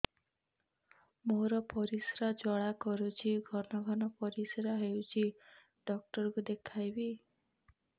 ମୋର ପରିଶ୍ରା ଜ୍ୱାଳା କରୁଛି ଘନ ଘନ ପରିଶ୍ରା ହେଉଛି ଡକ୍ଟର କୁ ଦେଖାଇବି